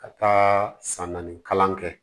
Ka taa san naani kalan kɛ